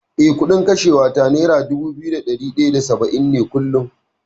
Eh, kuɗin kashewa ta nera dubu biyu da ɗari ɗaya da saba’in ne kullum.